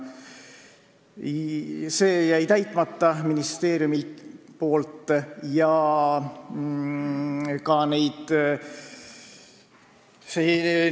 See jäi ministeeriumil täitmata.